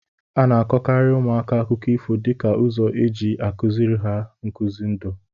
A na-akọkarị ụmụaka akụkọ ifo dịka ụzọ eji a kụziri ha nkuzi ndụ.